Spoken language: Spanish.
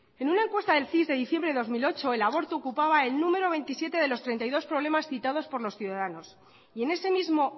en una encuesta del cis de diciembre de dos mil ocho el aborto ocupaba el número veintisiete de los treinta y dos problemas citados por los ciudadanos y en ese mismo